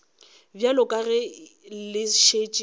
bjalo ka ge le šetše